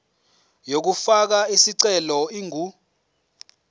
yokufaka isicelo ingu